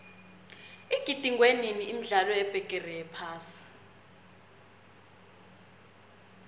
igidingwenini imidlalo yebigiri yephasi